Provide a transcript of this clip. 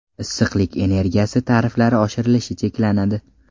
Issiqlik energiyasi tariflari oshirilishi cheklanadi.